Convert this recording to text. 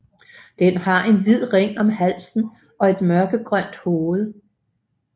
Den har en hvid ring om halsen og et mørkegrønt hoved